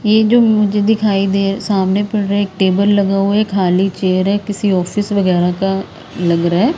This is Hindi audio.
ये जो मुझे दिखाई दे सामने पड़ रहा है एक टेबल लगा हुआ है खाली चेयर है किसी ऑफिस वगैरह का लग रहा है।